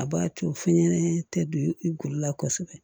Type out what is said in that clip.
A b'a to fɛnɲɛnɛma tɛ don i golo la kosɛbɛ